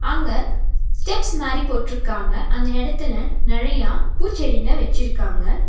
அங்க ஸ்டெப்ஸ் மாரி போட்ருக்காங்க அந்த எடத்துல நெறையா பூச்செடிங்க வச்சிருக்காங்க.